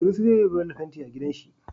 Sunusi zai yiwa Bello fenti a gidan shi